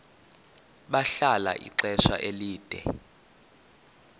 bahlala ixesha elide